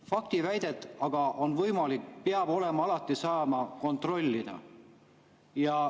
Faktiväidet peab aga alati saama kontrollida.